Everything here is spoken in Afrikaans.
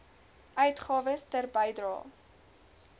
uitgawes ter bedrae